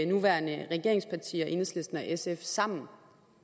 nuværende regeringspartier enhedslisten og sf sammen